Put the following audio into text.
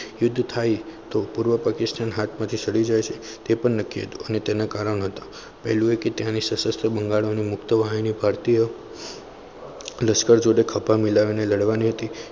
યુદ્ધ થાય તો પૂર્વ પાકિસ્તાન હાથમાંથી છૂટી જશે ટે પણ નક્તેકી હતું અને તેને કારણ હતા પહેલા એ હતું કે તેને સસસ્ત્ર બંગાળી મુક્ત વાહિની અને ભારતીય લશ્કર જોડે ખભે મિલાવીને લડવાની હતી